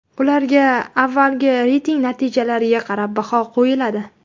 Ularga avvalgi reyting natijalariga qarab baho qo‘yiladi.